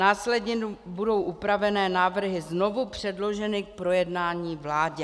Následně budou upravené návrhy znovu předloženy k projednání vládě.